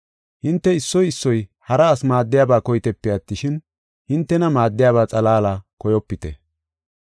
Hinte issoy issoy, hara asi maaddiyaba koyitepe attishin, hintena maaddiyaba xalaala koyopite.